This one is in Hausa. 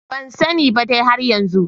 Bansane ba dai har yanzu.